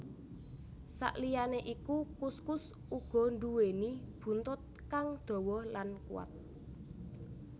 Saliyané iku kuskus uga nduwéni buntut kang dawa lan kuwat